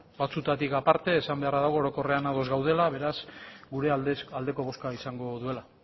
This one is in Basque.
batzuetatik aparte esan beharra dago orokorrean ados gaudela beraz gure aldeko bozka izango duela